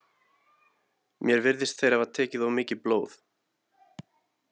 Mér virðist þeir hafa tekið of mikið blóð.